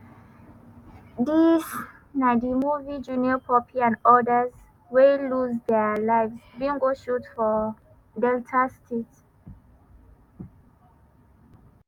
dis na di movie junior pope and odas wey lose dia lives bin go shoot for delta state.